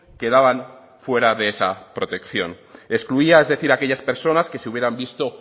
quedaban fuera de esa protección excluía es decir a aquellas personas que se hubieran visto